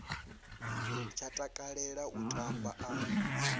tsha takalela u tamba a